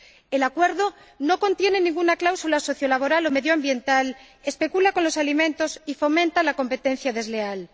El acuerdo no contiene ninguna cláusula sociolaboral o medioambiental, especula con los alimentos y fomenta la competencia desleal.